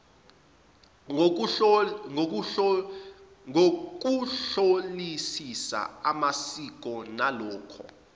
ngokuhlolisisa amasiko nalokho